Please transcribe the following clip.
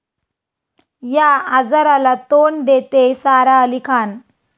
या' आजाराला तोंड देतेय सारा अली खान